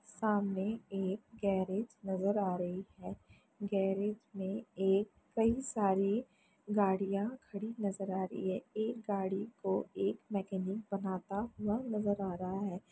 सामने एक गेरेज नज़र आ रही है। गेरेज में एक कई सारी गाड़ियाँ खड़ी नज़र आ रही है। एक गाड़ी को एक मैकेनिक बनाता हुआ नज़र आ रहा है।